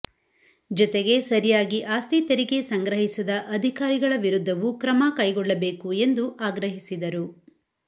ಜತೆಗೆ ಸರಿಯಾಗಿ ಆಸ್ತಿ ತೆರಿಗೆ ಸಂಗ್ರಹಿಸದ ಅಧಿಕಾರಿಗಳ ವಿರುದ್ಧವೂ ಕ್ರಮ ಕೈಗೊಳ್ಳಬೇಕು ಎಂದು ಆಗ್ರಹಿಸಿದರು